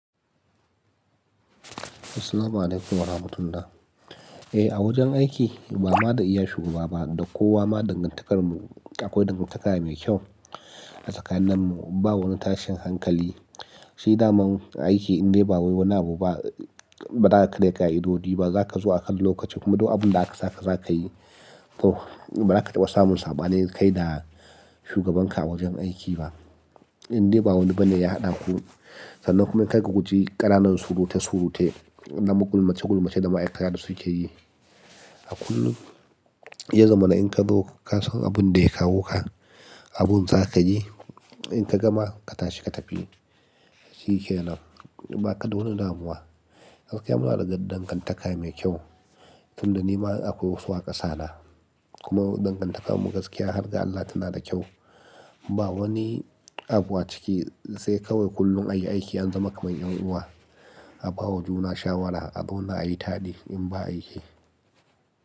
Assalamu alaikum wa rahmatullah. Eh, a wajen aiki ba ma da iya shugaba ba da kowa ma dangantakar mu akwai dangantaka mai kyau tsakanin mu. Ba wani tashin hankali. Shi naman aiki in dai ba wani abu ba, baza karya a'idodi ba, za ka zo akan lokaci kuma duk abun da aka saka za ka yi. To, ba za ka taɓa samun saɓani kai da shugabanka a wajen aiki ba. In dai ba wani bane ya haɗa ku, sannan kuma kai ka guji ƙananan surute surute, na gulmace gulmace da ma aikata da suke yi. A kullum, ya zama na in ka zo ka san abun da ya kawo ka, abun za ka yi, in ka gama ka tashi ka tafi. Shi ke nan. Ba ka wani damuwa. Gaskiya muna da dangantaka mai kyau. Tun da ni ma akwai wasu a kasa na. Kuma dangantakar mu gaskiya har ga Allah tana da kyau. Ba wani abu a ciki sai kawai kullum ayi aiki an zama kamar 'yan uwa. Abawa juna shawara, azauna ayi taɗi in ba aiki.